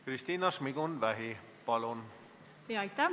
Kristina Šmigun-Vähi, palun!